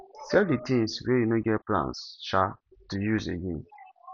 sell di things wey you no get plans um to use again